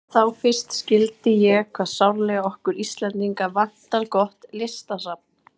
Þá fyrst skildi ég hve sárlega okkur Íslendinga vantar gott listasafn.